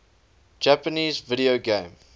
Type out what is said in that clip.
japanese video game